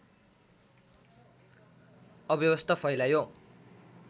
अव्यवस्था फैलायो